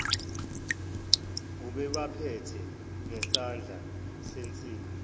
ubebaphethe ngesandla sensimbi